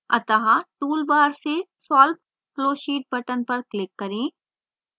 अतः toolbar से solve flowsheet button पर click करें